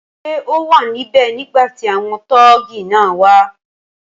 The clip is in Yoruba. Ṣé o wà níbè nígbàtí àwọn tọ́ọ́gì náà wá